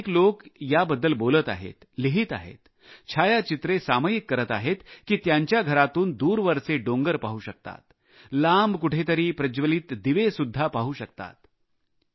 अनेक लोकं याबद्दल बोलत आहेत लिहित आहेत छायाचित्रे सामयिक करत आहेत की ते त्यांच्या घरातून दूरवरचे डोंगर पाहू शकतात दूरवरचा प्रकाश पाहू शकत आहेत